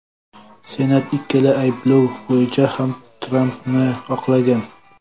Senat ikkala ayblov bo‘yicha ham Trampni oqlagan .